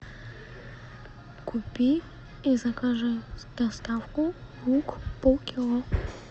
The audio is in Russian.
купи и закажи доставку лук полкило